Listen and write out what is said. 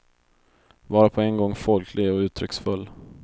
Vara på en gång folklig och uttrycksfull.